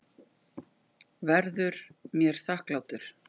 Verður mér þakklátur.